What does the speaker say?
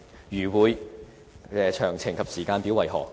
如會，詳情及時間表為何？